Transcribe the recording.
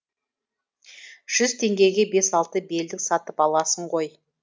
жүз теңгеге бес алты белдік сатып аласың ғой